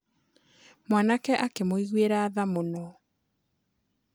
Mwanake akĩmũiguĩra tha mũno.